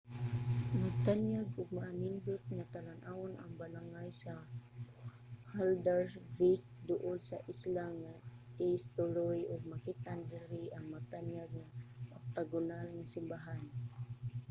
nagtanyag og maanindot nga talan-awon ang balangay sa haldarsvík duol sa isla nga eysturoy ug makit-an diri ang matanyag nga oktagonal nga simbahan